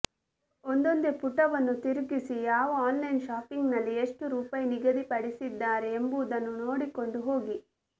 ಒಂದೊಂದೆ ಪುಟವನ್ನು ತಿರುಗಿಸಿ ಯಾವ ಆನ್ಲೈನ್ ಶಾಪಿಂಗ್ನಲ್ಲಿ ಎಷ್ಟು ರುಪಾಯಿ ನಿಗದಿ ಪಡಿಸಿದ್ದಾರೆ ಎಂಬುದನ್ನು ನೋಡಿಕೊಂಡು ಹೋಗಿ